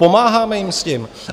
Pomáháme jim s tím.